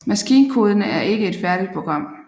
Maskinkoden er ikke et færdigt program